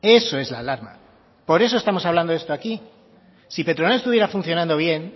eso es la alarma por eso estamos hablando esto aquí si petronor estuviera funcionando bien